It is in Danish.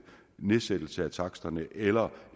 nedsættelse af taksterne eller